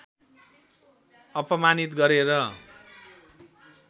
अपमानित गरे